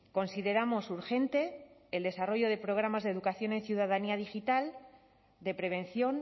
consideramos urgente el desarrollo de programas de educación en ciudadanía digital de prevención